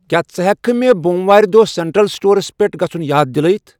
کیا ژٕ ہیکِہ کھہ مے بوم وارِ دۄہ سینٹرل سٹورس پیٹھ گژُھن یاد دِلٲیِتھ ؟